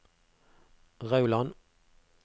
Rauland